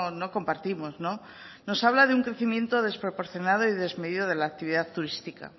no compartimos nos habla de un crecimiento desproporcionado y desmedido de la actividad turística